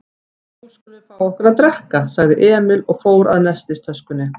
Nú skulum við fá okkur að drekka, sagði Emil og fór að nestistöskunni.